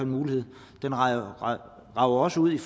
mulighed den rækker også ud